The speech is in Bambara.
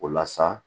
O la sa